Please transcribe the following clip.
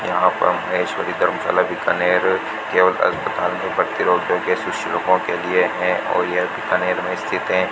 यहां पर महेश्वरी धर्मशाला बीकानेर केवल अस्पताल में भर्ती रोगियों के रोगियों के लिए है और यह बीकानेर में स्थित है